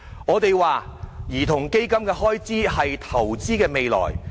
我們認為，兒童基金的開支是投資未來。